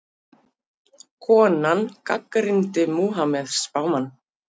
Konan gagnrýndi Múhameð spámann